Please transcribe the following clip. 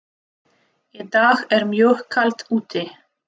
Í dag er mjög kalt úti.